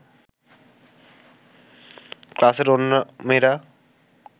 ক্লাসের অন্য মেয়েরা